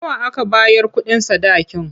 Nawa aka bayar kuɗin sadakin?